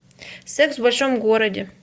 секс в большом городе